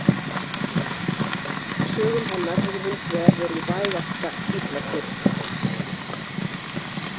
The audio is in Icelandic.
Sögum hennar hefur hins vegar verið vægast sagt illa tekið.